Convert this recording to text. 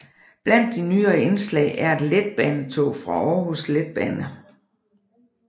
Blandt de nyere indslag er et letbanetog fra Aarhus Letbane